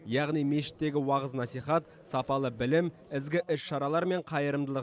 яғни мешіттегі уағыз насихат сапалы білім ізгі іс шаралар мен қайырымдылық